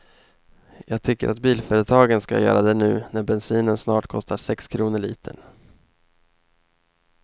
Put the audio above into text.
Jag tycker att bilföretagen ska göra det nu när bensinen snart kostar sex kronor litern.